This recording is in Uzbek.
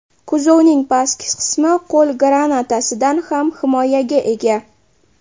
Kuzovning pastki qismi qo‘l granatasidan ham himoyaga ega.